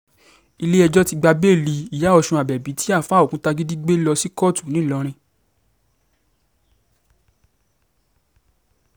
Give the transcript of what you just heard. ilé-ẹjọ́ ti gba bẹ́ẹ̀lì ìyá ọ̀sùn abẹ́bí tí àáfáà òkútagídí gbé lọ sí kóòtù ńìlọrin